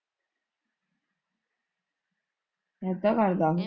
ਏਦਾ ਕਰਦਾ ਉਹ।